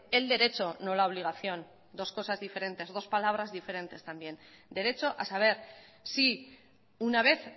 el derecho no la obligación dos cosas diferentes dos palabras diferentes también derecho a saber si una vez